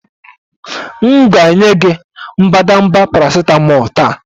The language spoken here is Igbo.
M ga-enye gị mbadamba paracetamol taa